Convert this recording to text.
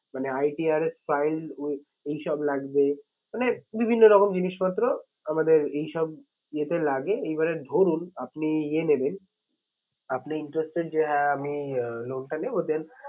মানে ITRA এই সব লাগবে। মানে বিভিন্ন রকম জিনিসপত্র আমাদের এই সব ইয়েতে লাগে। এইবারে ধরুন আপনি ইয়ে নেবেন, আপনি interested যে হ্যাঁ আমি আহ loan টা নেবো then